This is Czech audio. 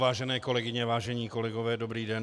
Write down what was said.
Vážené kolegyně, vážení kolegové, dobrý den.